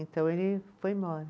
Então ele foi embora.